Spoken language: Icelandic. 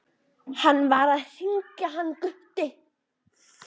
HANN VAR AÐ HRINGJA HANN GUTTI.